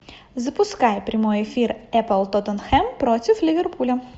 запускай прямой эфир апл тоттенхэм против ливерпуля